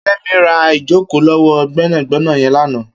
Kemi rà ijókó lọwọ gbẹnágbẹná yèn làná